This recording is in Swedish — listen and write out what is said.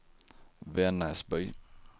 Vännäsby